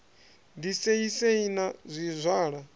ḓi sei sei na zwizwala